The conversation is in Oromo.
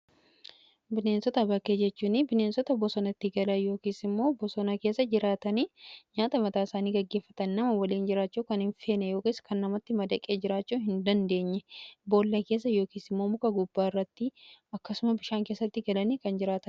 Bineensota bakkee jechuun bineensota bosonatti galan yookiisimmoo bosona keessa jiraatanii nyaata mataa isaanii gaggeeffatan nama waliin jiraachuu kan hin feene yookaas kan namatti madaqee jiraachuu hin dandeenye boolla keessa yookiisimmoo muka gubbaa irratti akkasuma bishaan keessatti galanii kan jiratan.